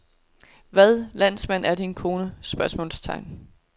Hvad landsmand er din kone? spørgsmålstegn